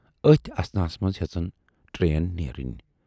ٲتھۍ اثناہس منز ہیژٕن ٹرین نیرٕنۍ۔